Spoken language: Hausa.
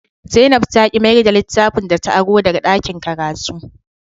Zainab ta ki mayar da littafin da ta aro daga dakin karatu